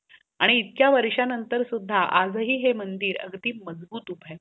आणि इथक्या वर्ष नंतर सुधा आज हे ह्या मंदिर अगदी मजबूत हुब आहे